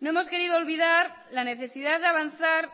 no hemos querido olvidar la necesidad de avanzar